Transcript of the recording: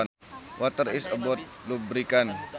Water is a lubricant